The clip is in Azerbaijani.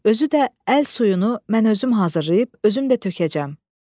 Özü də əl suyunu mən özüm hazırlayıb özüm də tökəcəm.